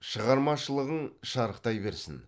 шығармашылығың шарықтай берсін